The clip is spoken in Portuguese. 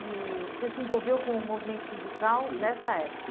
E você se envolveu com o movimento sindical, isso, nessa época?